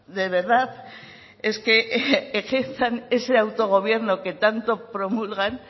de verdad es que ejerzan ese autogobierno que tanto promulgan